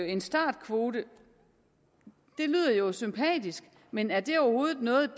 en startkvote lyder jo sympatisk men er det overhovedet noget